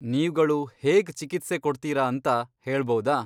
ನೀವ್ಗಳು ಹೇಗ್ ಚಿಕಿತ್ಸೆ ಕೊಡ್ತೀರಾ ಅಂತ ಹೇಳ್ಬೌದಾ?